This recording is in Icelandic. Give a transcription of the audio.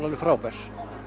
alveg frábært